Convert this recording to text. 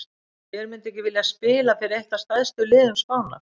Hver myndi ekki vilja spila fyrir eitt af stærstu liðum Spánar?